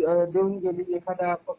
देऊन गेली एखादा पक्षाने